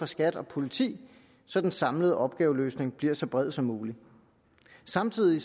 skat og politi så den samlede opgaveløsning bliver så bred som mulig samtidig